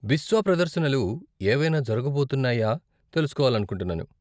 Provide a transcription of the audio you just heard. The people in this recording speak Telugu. బిస్వా ప్రదర్శనలు ఏవైనా జరగబోతున్నాయా తెలుసుకోవాలనుకుంటున్నాను.